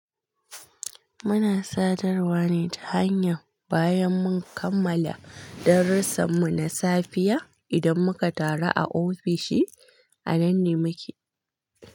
Muna sadarwa ne ta hanya bayan mun kammala darussanmu na safiya. Idan muka taru a ofishi, anan ne muke.